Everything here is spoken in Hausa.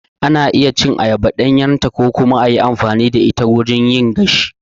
Ana iya cin ayaba ɗanyarta ko kuma a yi amfani da ita wajen yin gashi.